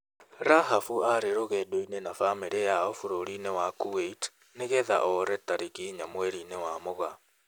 Rahaf aarĩ rũgendo-inĩ na bamĩrĩ yao bũrũri-inĩ wa Kuwait nĩgeetha oree tarĩki inya mweri-inĩ wa mūgaa ,